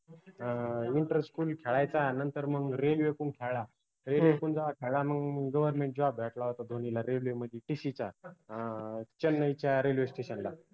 अं interestfull खेळायचा नंतर मंग railway तून खेळला railway तुन खेळाला मंग governmentjob भेटला होता धोनीला railway मदि TC चा अं चेन्नईच्या railway station ला